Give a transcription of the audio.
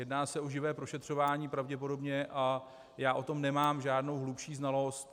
Jedná se o živé prošetřování pravděpodobně a já o tom nemám žádnou hlubší znalost.